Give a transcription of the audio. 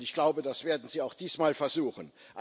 Ich glaube, das werden sie auch diesmal versuchen.